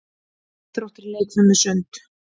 Íþróttir- leikfimi- sund